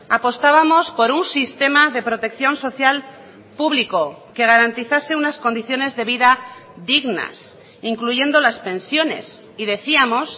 apostábamos por un sistema de protección social público que garantizase unas condiciones de vida dignas incluyendo las pensiones y decíamos